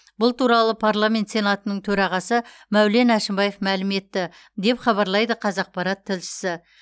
бұл туралы парламент сенатының төрағасы мәулен әшімбаев мәлім етті деп хабарлайды қазақпарат тілшісі